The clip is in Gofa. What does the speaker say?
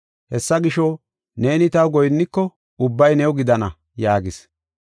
Hessa gisho, neeni taw goyinniko ubbay new gidana” yaagis.